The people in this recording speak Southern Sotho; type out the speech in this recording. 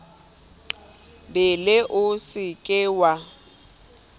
bele o se ke wa